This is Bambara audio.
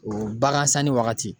O bagan sanni wagati